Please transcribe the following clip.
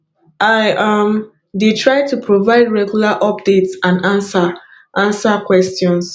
i um dey try to provide regular updates and answer answer questions